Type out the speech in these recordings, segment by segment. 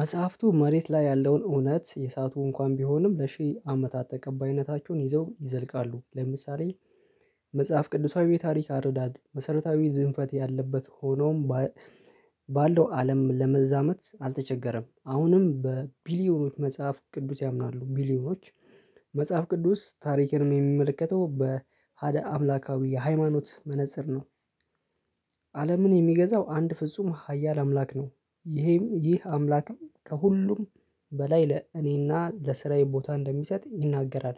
መጽሐፍቱ መሬት ላይ ያለውን እውነት የሰአቱ እንኳን ቢሆንም ለሺህ አመታት ተቀባይነታችሁን ይዘው ይዘልቃሉ። ለምሳሌ መጽሐፍ ቅዱሳዊ ታሪክ አረዳድ መሰረታዊ ዝንፈት ያለበት ሆኖም ባለው አለም ለመዛመት አልተቸገረም። አሁንም በቢሊዮኖች መጽሐፍ ቅዱስ ያምናሉ ሚሊዮኖች መጽሐፍ ቅዱስ ታሪክን የሚመለከተው በዕሀደ አምላካዊ ሃይማኖት መነፀር ነው። አለምን የሚገዛው አንድ ፍጹም ሃያል አምላክ ነው። ይህም ይህ አምላክም ከሁሉም በላይ ለእኔና ለስራዬ ቦታ እንደሚሰጥ ይናገራል።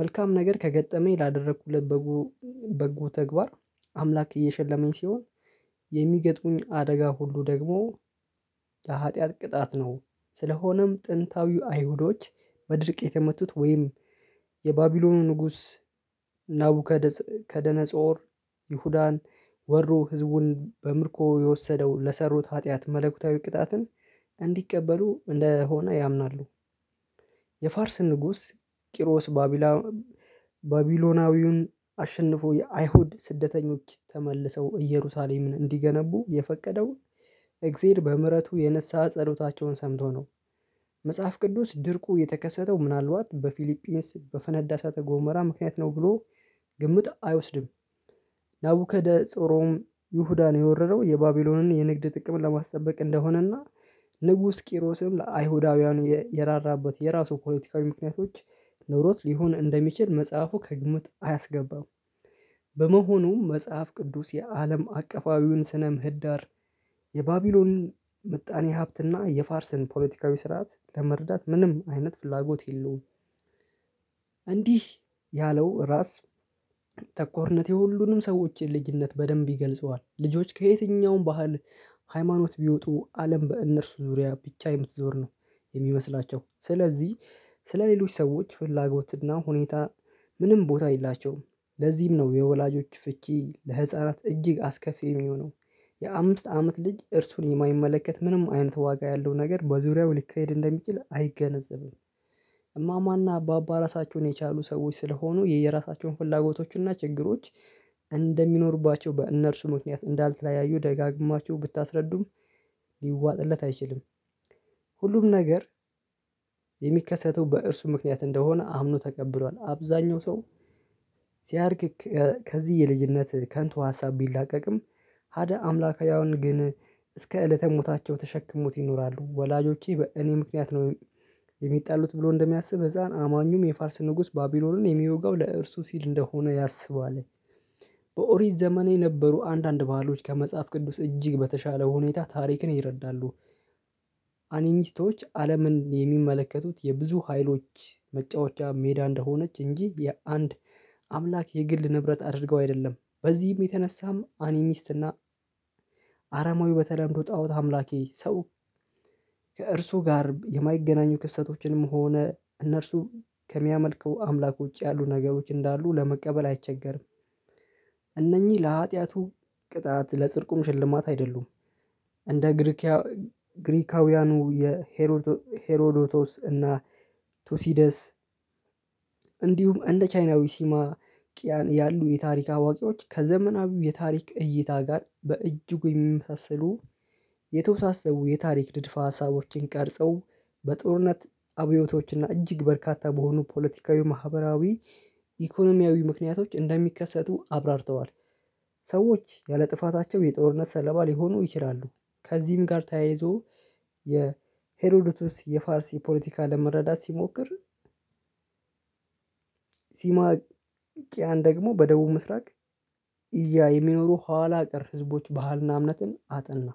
መልካም ነገር ከገጠመኝ ላደረኩለት በጉ በጎ ተግባር አምላክ እየሸለመኝ ሲሆን የሚገጥሙኝ አደጋ ሁሉ ደግሞ የሀጥያት ቅጣት ነው። ስለሆነም ጥንታዊው አይሁዶች በድርቅ የተመቱት ወይም የባቢሎኑ ንጉስ ናቡከደነፆር ይሁዳን ወሮ ህዝቡን በምርኮ የወሰደው ለሰሩት ኃጢአት መለኮታዊ ቅጣትን እንዲቀበሉ እንደሆነ ያምናሉ። የፋርስ ንጉስ ቂሮስ ባቢላ ባቢሎናዊውን አሸንፎ የአይሁድ ስደተኞች ተመልሰው እየሩሳሌምን እንዲገነቡ የፈቀደው እግዜር በምህረቱ የንስሀ ጸሎታቸውን ሰምቶ ነው። መጽሐፍ ቅዱስ ድርቁ የተከሰተው ምናልባት በፊሊጲንስ በፈነዳ እሳተ ጎመራ ምክንያት ነው ብሎ ግምት አይወስድም። ናቡከደ ጽሮም ይሁዳን የወረረው የባቢሎንን የንግድ ጥቅም ለማስጠበቅ እንደሆነና ንጉስ ቂሮስም ለአይሁዳውያን የራራበት የራሱ ፖለቲካዊ ምክንያቶች ኖሮት ሊሆን እንደሚችል መጽሐፉ ከግምት አያስገባም። በመሆኑም መጽሐፍ ቅዱስ የአለም አቀፋዊውን ስነ ምህዳር የባቢሎን ምጣኔ ሀብትና የፋርስን ፖለቲካዊ ስርዓት ለመረዳት ምንም አይነት ፍላጎት የለውም። እንዲህ ያለው ራስ ተኮርነቴ ሁሉንም ሰዎችን ልጅነት በደንብ ይገልጸዋል ልጆች ከየትኛውም ባህል ሃይማኖት ቢወጡ አለም በእነርሱ ዙሪያ ብቻ የምትዞር ነው። የሚመስላቸው ስለዚህ ስለሌሎች ሰዎች ፍላጎትና ሁኔታ ምንም ቦታ የላቸውም። ለዚህም ነው የወላጆች ፍቺ ለህፃናት እጅግ አስከፊ የሚሆነው። የአምስት አመት ልጅ እርሱን የማይመለከት ምንም አይነት ዋጋ ያለው ነገር በዙሪያው ሊካሄድ እንደሚችል አይገነዘብም። እማማና ባባ ራሳቸውን የቻሉ ሰዎች ስለሆኑ የየራሳቸውን ፍላጎቶችንና ችግሮች እንደሚኖሩባቸው በእነርሱ ምክንያት እንዳልተለያዩ ደጋግማችሁ ብታስረዱም ሊዋጥለት አይችልም። ሁሉም ነገር የሚከሰተው በእርሱ ምክንያት እንደሆነ አምኖ ተቀብሏል። አብዛኛው ሰው ሲያድግ ከዚህ የልጅነት ከንቱ ሀሳብ ቢላቀቅም ሀደ አምላካዊ አሁን ግን እስከ እለተ ሞታቸው ተሸክሞት ይኖራሉ። ወላጆቼ በእኔ ምክንያት ነው የሚጣሉት ብሎ እንደሚያስብ ህፃን አማኙም የፋርስ ንጉስ ባቢሎንን የሚወጋው ለእርሱ ሲል እንደሆነ ያስበዋል። በኦሪት ዘመኔ የነበሩ አንዳንድ ባህሎች ከመጽሐፍ ቅዱስ እጅግ በተሻለ ሁኔታ ታሪክን ይረዳሉ። አኒሚስቶች አለምን የሚመለከቱት የብዙ ሀይሎች መጫወቻ ሜዳ እንደሆነች እንጂ የአንድ አምላክ የግል ንብረት አድርገው አይደለም። በዚህም የተነሳም አኒሚስትና አራማዊ በተደረገው ጣኦት አምላኬ ሰው ከእርሱ ጋር የማይገናኙ ክስተቶችንም ሆነ እነርሱ ከሚያመልከው አምላክ ውጪ ያሉ ነገሮች እንዳሉ ለመቀበል አይቸገርም። እነኚህ ለሀጢያቱ ቅጣት ለጽርቁም ሽልማት አይደሉም። እንደ ግሪካውያኑ የሄሮዶቶስ እና ቶሲደስ እንዲሁም እንደ ቻይናዊ ሲማቂያን ያሉ የታሪክ አዋቂዎች ከዘመናዊው የታሪክ እይታ ጋር በእጅጉ የሚመሳሰሉ። የተወሳሰቡ የታሪክ ድርፋ ሀሳቦችን ቀርጸው በጦርነት አብዮቶችና እጅግ በርካታ በሆኑ ፖለቲካዊ ማህበራዊ ኢኮኖሚያዊ ምክንያቶች እንደሚከሰቱ አብራርተዋል። ሰዎች ያለ ጥፋታቸው የጦርነት ሰለባ ሊሆኑ ይችላሉ። ከዚህም ጋር ተያይዞ የሄሮዶተስ የፋርስ የፖለቲካ ለመረዳት ሲሞክር። ሲማቂያን ደግሞ በደቡብ ምስራቅ እያ የሚኖሩ ኋላ ቀር ህዝቦች ባህልና እምነትን አጠና።